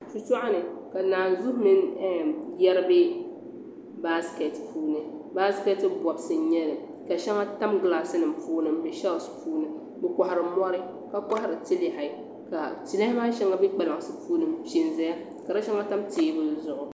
Shitɔɣu ni ka naanzuhi mini yari biɛ baasiketi puuni baasikeeti bɔbisi n nyeli ka shɛŋa tam gilaasinima puuni m be shɛli puuni bɛ kɔhiri mɔri ka kɔhiri tilɛhi ka tilɛhi maa shɛŋa be kpalansi ni m pe n doya ka di shɛŋa tam teebuli zuɣu.